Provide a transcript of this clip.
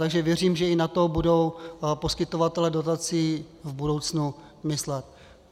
Takže věřím, že i na to budou poskytovatelé dotací v budoucnu myslet.